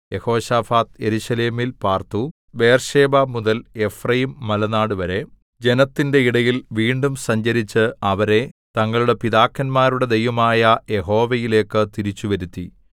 യെഹോശാഫാത്ത് യെരൂശലേമിൽ പാർത്തു ബേർശേബമുതൽ എഫ്രയീംമലനാടുവരെ ജനത്തിന്റെ ഇടയിൽ വീണ്ടും സഞ്ചരിച്ച് അവരെ തങ്ങളുടെ പിതാക്കന്മാരുടെ ദൈവമായ യഹോവയിലേക്ക് തിരിച്ചുവരുത്തി